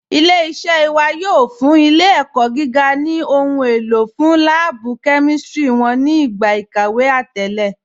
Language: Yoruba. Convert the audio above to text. Ilẹ̀-iṣẹ̀ wà yóò fún ilẹ̀-ẹ̀kọ́ gígà ni ohun èlò fún lààbú kẹmístírí wọn ni igba ikàwé àtẹ̀lẹ̀.